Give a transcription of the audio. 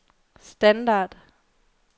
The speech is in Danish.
standard